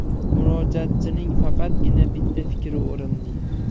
Murojaatchining faqatgina bitta fikri o‘rinli.